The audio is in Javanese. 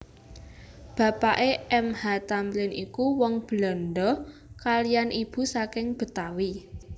Bapake M H Thamrin iku wong Belandha kaliyan ibu saking Betawi